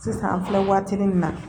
Sisan an filɛ waatinin min na